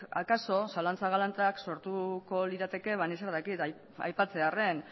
akaso zalantza galantak sortuko lirateke ni zer dakit aipatzearren